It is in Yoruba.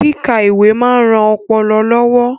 Kíka ìwé máa ń ran ọpọlọ lọ́wọ́